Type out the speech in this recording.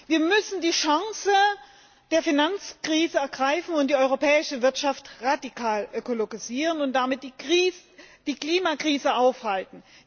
Wir müssen die Chancen der Finanzkrise ergreifen und die europäische Wirtschaft radikal ökologisieren und damit die Klimakrise aufhalten.